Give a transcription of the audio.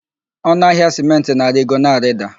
Ọnụ ahịa sịmentị na-arigo, na-arida